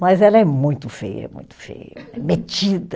Mas ela é muito feia, muito feia, é metida.